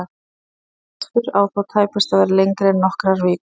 Slíkur frestur á þó tæpast að vera lengri en nokkrar vikur.